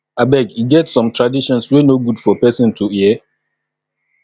abeg e get some traditions wey no good for person to hear